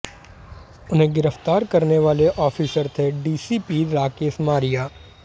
उन्हें गिरफ्तार करने वाले ऑफिसर थे डीसीपी राकेश मारिया